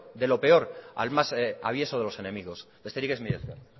de lo peor al más avieso de los enemigos besterik ez mila esker